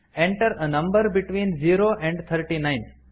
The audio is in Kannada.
enter a number between zero and thirty nine